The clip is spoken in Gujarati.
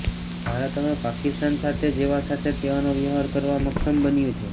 ભારત હવે પાકિસ્તાન સાથે જેવા સાથે તેવાનો વ્યવહાર કરવા મકકમ બન્યું છે